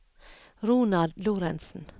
Ronald Lorentsen